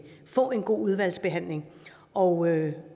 få en god udvalgsbehandling og